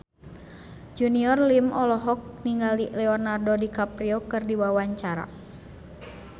Junior Liem olohok ningali Leonardo DiCaprio keur diwawancara